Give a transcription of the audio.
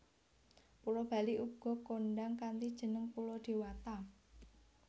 Pulo Bali uga kondhang kanthi jeneng Pulo Dewata